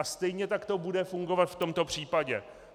A stejně tak to bude fungovat v tomto případě.